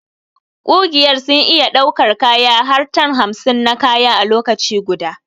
Ƙugiyar sun iya daukar kaya har tan hamsin na kaya a lokaci guda.